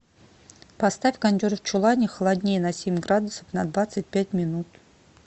поставь кондер в чулане холоднее на семь градусов на двадцать пять минут